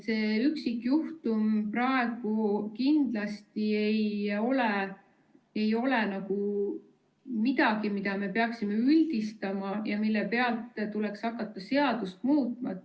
See üksikjuhtum praegu kindlasti ei ole midagi, mida me peaksime üldistama ja mille pealt tuleks seadust muuta.